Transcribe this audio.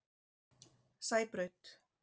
Sæbraut